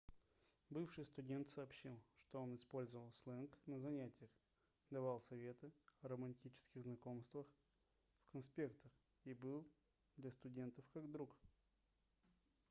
бывший студент сообщил что он использовал сленг на занятиях давал советы о романтических знакомствах в конспектах и был для студентов как друг